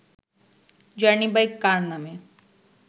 journey by car নামে